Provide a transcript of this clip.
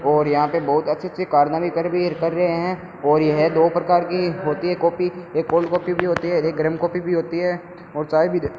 और यहां पे बहुत अच्छे-अच्छे कारनामे कर भी कर रहे हैं और यह दो प्रकार की होती है काफी एक कोल्ड कॉफी भी होती है गरम कॉफी भी होती है और चाय भी --